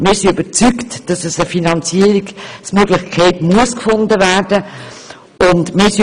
Wir sind überzeugt, dass eine Finanzierungsmöglichkeit gefunden werden muss.